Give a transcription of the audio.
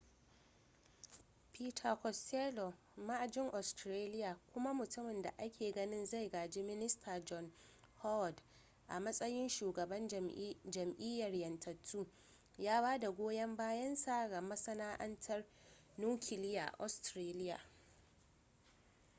peter costello ma'ajin australia kuma mutumin da ake ganin zai gaji minista john howard a matsayin shugaban jam'iyyar 'yantattu ya bada goyan bayan sa ga masana'antar nukiliya a australia